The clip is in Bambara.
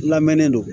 Lamɛnen don